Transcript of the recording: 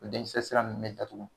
O den kisɛ sira n mɛ datugu